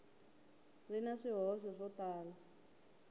ri na swihoxo swo tala